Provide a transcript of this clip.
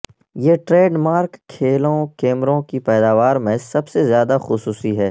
یہ trademark کھیلوں کیمروں کی پیداوار میں سب سے زیادہ خصوصی ہے